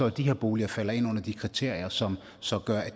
at de her boliger falder ind under de kriterier som så gør at